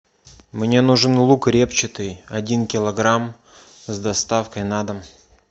мне нужен лук репчатый один килограмм с доставкой на дом